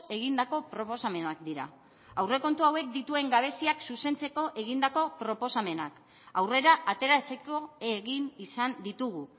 egindako proposamenak dira aurrekontu hauek dituen gabeziak zuzentzeko egindako proposamenak aurrera ateratzeko egin izan ditugu